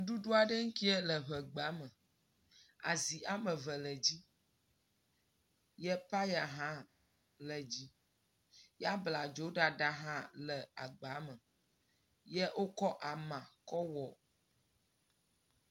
Nuɖuɖu aɖe ya le ŋegba me. Azi ame eve le edzi eye peya hã le edzi ya abladzo ɖaɖa hã le agba me eye wokɔ ama kɔ wɔ.